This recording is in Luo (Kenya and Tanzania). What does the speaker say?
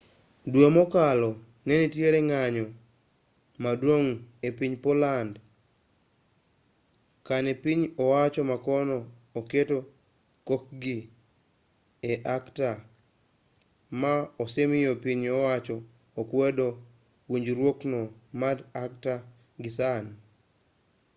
dwe mokalo nenitiere ng'anyo maduong' epiny poland kane piny owacho makono oketo kokgi e acta maa osemiyo piny owacho okwedo winjruokno mar acta gisani